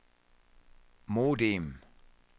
modem